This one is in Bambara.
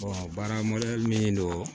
baara min don